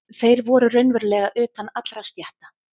Þeir voru raunverulega utan allra stétta.